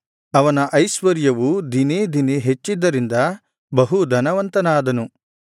ಅವನ ಐಶ್ವರ್ಯವು ದಿನೇ ದಿನೇ ಹೆಚ್ಚಿದ್ದರಿಂದ ಬಹು ಧನವಂತನಾದನು